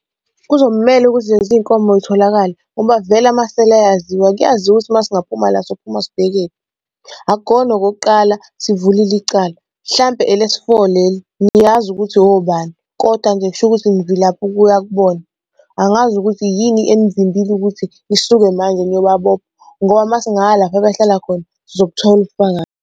Kuzomele ukuthi lezi nkomo y'tholakale ngoba vele amasela ayaziwa. Kuyaziwa ukuthi uma singaphuma la sophuma sibheke kuphi. Akukhona okokuqala sivulile icala, hlampe elesi-four leli. Ngiyazi ukuthi obani kodwa ngisho ukuthi ngivilapha ukuya kubona. Angazi ukuthi yini enivimbile ukuthi nisuke manje niyobabopha ngoba uma singaya lapha abahlala khona sizobuthola ubufakazi.